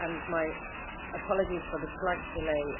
My apologies for the slight delay.